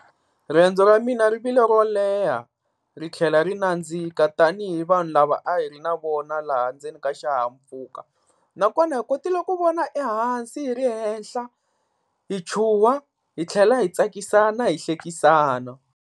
Riendzo ra mina ri vile ro leha ri tlhela ri nandzika tanihi vanhu lava a hi ri na vona laha ndzeni ka xihahampfhuka. Nakona hi kotile ku vona ehansi hi ri henhla hi chuha hi tlhela hi tsakisana hi hlekisana.